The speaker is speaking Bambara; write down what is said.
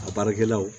A baarakɛlaw